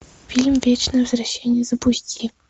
фильм вечное возвращение запусти